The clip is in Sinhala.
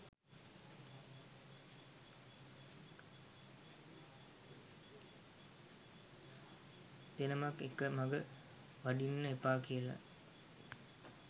දෙනමක් එක මග වඩින්න එපා කියල.